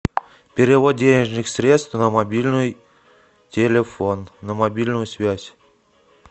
перевод денежных средств на мобильный телефон на мобильную связь